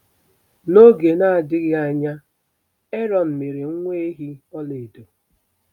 N'oge na-adịghị anya, Erọn mere nwa ehi ọlaedo.